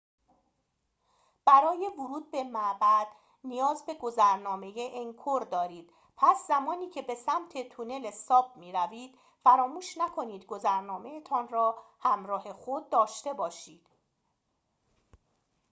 برای ورود به معبد نیاز به گذرنامه انکور دارید پس زمانی که به سمت تونله ساپ می‌روید فراموش نکنید گذرنامه‌تان را ‌همراه خود داشته باشید